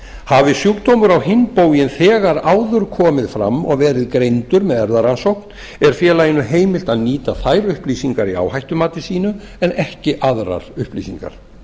hafi sjúkdómur á hinn bóginn þegar áður komið fram og verið greindur með erfðarannsókn er félaginu heimilt að nýta þær upplýsingar í áhættumati sínu en ekki aðrar upplýsingar